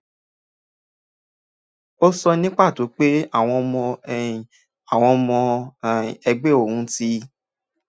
ó sọ ní pàtó pé àwọn ọmọ um àwọn ọmọ um ẹgbẹ́ òun ti